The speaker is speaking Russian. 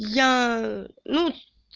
я ну